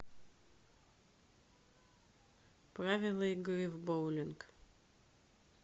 правила игры в боулинг